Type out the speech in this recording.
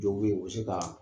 Jɔw bi yen u bɛ se ka